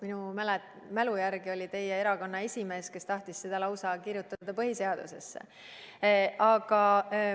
Minu mälu järgi oli teie erakonna esimees see, kes tahtis seda lausa põhiseadusesse kirjutada.